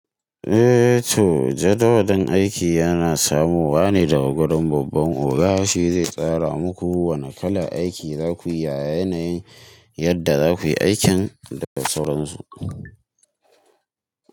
Eh to, jadawalin aiki yana samowa ne daga gadon babban oga. Shi zai tsara muku wana kalar aiki za ku yi yanayi yadda za ku yi aikin da sauransu.